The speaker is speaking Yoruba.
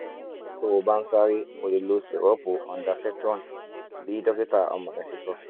tó o bá ń ṣàárẹ̀ o lè lo syrup ondansetron bí dókítà ọmọ rẹ ṣe sọ